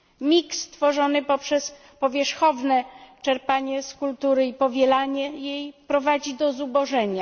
Mieszanka tworzona poprzez powierzchowne czerpanie z kultury i powielanie jej prowadzi do zubożenia.